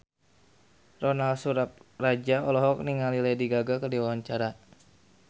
Ronal Surapradja olohok ningali Lady Gaga keur diwawancara